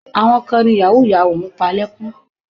Àwọn kan ni yàwúù-yàwúù ń pa lẹ́kún.